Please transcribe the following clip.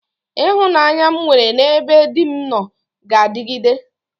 Ịhụnanya m nwere n'ebe di m nọ ga-adịgide.